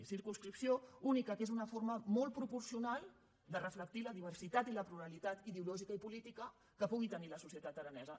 circum·scripció única que és una forma molt proporcional de reflectir la diversitat i la pluralitat ideològica i política que pugui tenir la societat aranesa